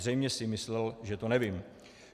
Zřejmě si myslel, že to nevím.